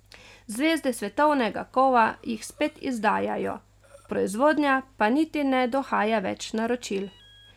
Zvezde svetovnega kova jih spet izdajajo, proizvodnja pa niti ne dohaja več naročil.